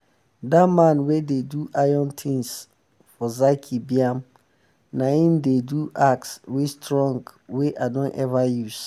dat man wey dey do iron tins for zaki biam na em dey um do axe wey strong um wey um i don ever use.